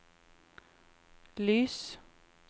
lys